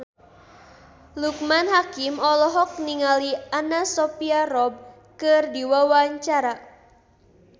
Loekman Hakim olohok ningali Anna Sophia Robb keur diwawancara